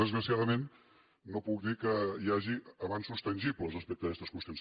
desgraciadament no puc dir que hi hagi avenços tangibles respecte a aquestes qüestions